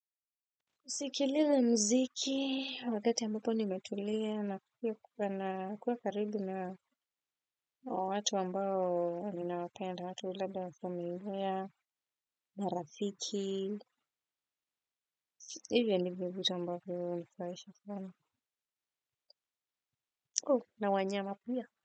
Kusikiliza mziki wakati ambapo nimetulia na kuwa karibu na watu ambao ninawapenda watu labda wa familia marafiki. Hivyo ndivyo vitu ambavyo hunifurahisha sana na wanyama pia.